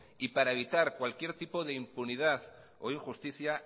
y para evitar cualquier tipo de impunidad o injusticia